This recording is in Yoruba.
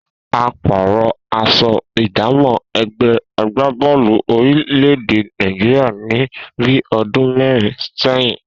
A pàrò̩ as̩o̩ ìdámò̩ e̩gbé̩ agbábó̩ò̩lù orílè̩-èdè Nàìjíríà ní bí o̩dún mé̩rin sé̩yìn